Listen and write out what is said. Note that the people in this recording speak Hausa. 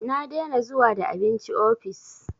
Na dena zuwa da abinci ofis